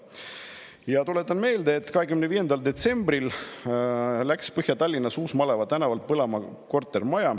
Ja tuletan meelde, et 25. detsembril läks Põhja-Tallinnas Uus-Maleva tänaval põlema kortermaja.